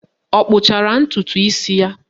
Ọ kpụchara ntụtụ isi ya?